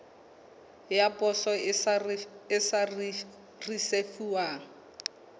ya poso e sa risefuwang